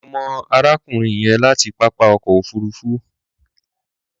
Mo mọ̀ arákùnrin yẹn láti pápá ọkọ̀ òfuruufú.